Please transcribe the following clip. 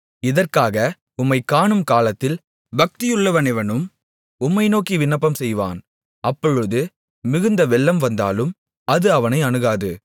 இதற்காக உம்மைக் காணும் காலத்தில் பக்தியுள்ளவனெவனும் உம்மை நோக்கி விண்ணப்பம் செய்வான் அப்பொழுது மிகுந்த வெள்ளம் வந்தாலும் அது அவனை அணுகாது